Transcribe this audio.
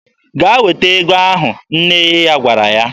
"Gaa weta ego ahụ!" nne ya gwara ya.